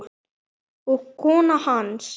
og kona hans.